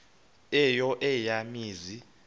eyo eya mizi